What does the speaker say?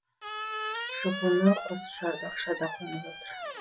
жұпыны құс шарбақшада қонып отыр